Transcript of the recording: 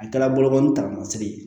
A kɛla bolokoli taramasere ye